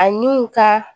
Ani u ka